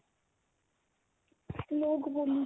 ਲੋਕ ਬੋਲੀ